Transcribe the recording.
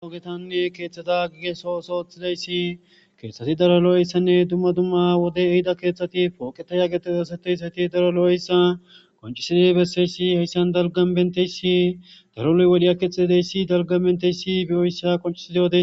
oogetanni keeththada gige soo oso thileyssi keeththati daro lo7eyssanne dumma dumma wode ehida keeththati pooqeta ya getedeseteyssayti daro lo7eyssa koncisida besseyssi heyssan dalgan benteyssi daro loy wodhiya keexxidideyssi dalga benteyssi biyoyssa qoncisida ode